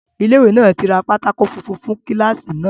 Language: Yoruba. Ilé ìwé náà tí ra pátákó funfun fún kíláàsì náà